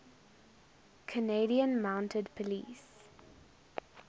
canadian mounted police